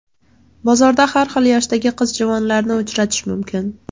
Bozorda har xil yoshdagi qiz-juvonlarni uchratish mumkin.